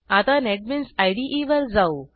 आता NetBeans IDE वर जाऊ